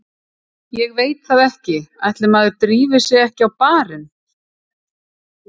Ég veit það ekki, ætli maður drífi sig ekki á barinn.